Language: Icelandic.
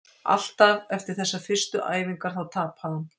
Alltaf eftir þessar fyrstu æfingar, þá tapaði hann!